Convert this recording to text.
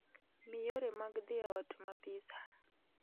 Mi yore mag dhi e ot ma pizza